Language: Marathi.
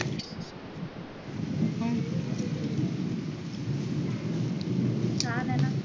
छान ये ना